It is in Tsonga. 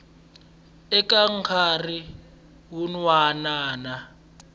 eka nkarhi wun wana na